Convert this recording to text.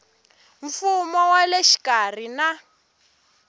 mfumo wa le xikarhi na